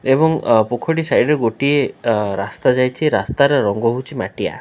ଏବଂ ପୋଖରୀଟି ସାଇଡ ରେ ଗୋଟିଏ ଅ ରାସ୍ତା ଯାଇଛି ରାସ୍ତାର ରଙ୍ଗ ହେଉଛି ମାଟିଆ ।